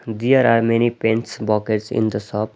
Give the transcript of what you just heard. There are many paints bockets in the shop.